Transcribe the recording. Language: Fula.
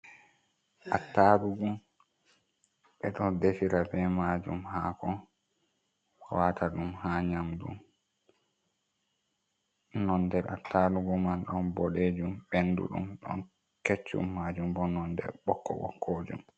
Attarugu ɓe ɗon defira be maajum haako wata ɗum haa nyamdu, nonde attarugo man ɗon boɗejum ɓendu ɗum, ɗon keccum majum bo non de ɓokko-ɓokkojum.